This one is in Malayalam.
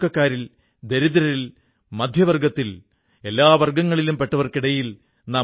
നമ്മുടെയുള്ളിൽ ഒരു അസാധാരണമായ വളർച്ച ഉണ്ടാക്കുന്ന അനേകം കളികൾ ഭാരതത്തിൽ പ്രാചീനകാലം മുതൽക്കേ ഉണ്ടായിരുന്നു